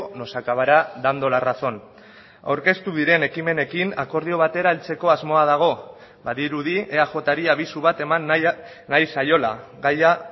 nos acabará dando la razón aurkeztu diren ekimenekin akordio batera heltzeko asmoa dago badirudi eajri abisu bat eman nahi zaiola gaia